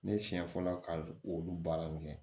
Ne siɲɛ fɔlɔ ka olu baara nin kɛ